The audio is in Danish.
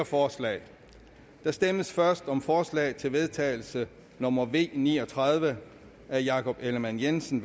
forslag der stemmes først om forslag til vedtagelse nummer v ni og tredive af jakob ellemann jensen